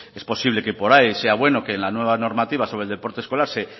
es posible que por ahí sea bueno que en la nueva normativa sobre el deporte escolar